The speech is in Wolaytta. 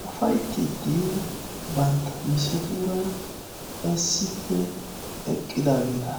puulattidi bantta misetuura issippe eqqidaageeta.